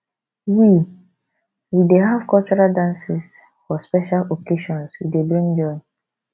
we we dey have cultural dances for special occasions e dey bring joy